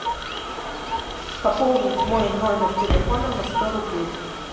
пополнить мой номер телефона на сто рублей